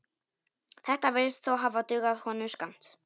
Þetta virðist þó hafa dugað honum skammt.